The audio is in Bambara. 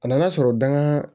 A nana sɔrɔ dangan